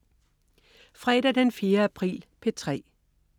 Fredag den 4. april - P3: